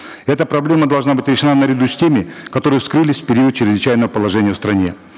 эта проблема должна быть решена наряду с теми которые вскрылись в период чрезвычайного положения в стране